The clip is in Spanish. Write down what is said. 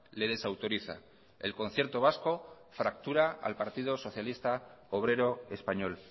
le desautoriza el concierto vasco fractura al partido socialista obrero español